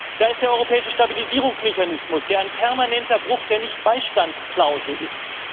Da ist der europäische Stabilisierungsmechanismus, der ein permanenter Bruch der Nichtbeistandsklausel ist.